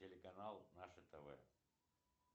телеканал наше тв